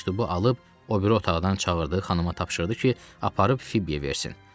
Məktubu alıb o biri otaqdan çağırdığı xanıma tapşırdı ki, aparıb Fibbiyə versin.